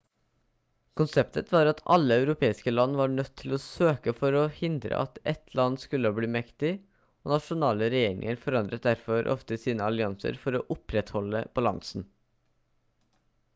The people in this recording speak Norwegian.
konseptet var at alle europeiske land var nødt til å søke for å hindre at ett land skulle bli mektig og nasjonale regjeringer forandret derfor ofte sine allianser for å opprettholde balansen